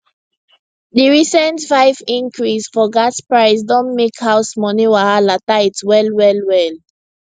di recent 5 increase for gas price don make house money wahala tight well well well